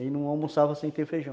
Ele não almoçava sem ter feijão.